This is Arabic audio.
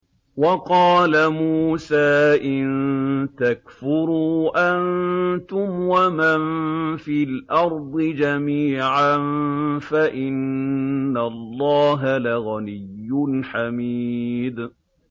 وَقَالَ مُوسَىٰ إِن تَكْفُرُوا أَنتُمْ وَمَن فِي الْأَرْضِ جَمِيعًا فَإِنَّ اللَّهَ لَغَنِيٌّ حَمِيدٌ